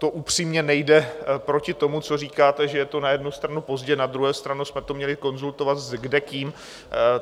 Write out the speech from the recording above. To upřímně nejde proti tomu, co říkáte, že je to na jednu stranu pozdě, na druhou stranu jsme to měli konzultovat s kdekým.